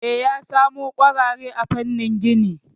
E, ya samo kwarare a famnin gini